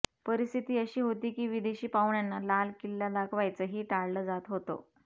परिस्थिती अशी होती की विदेशी पाहुण्यांना लाल किल्ला दाखवायचंही टाळलं जात होतं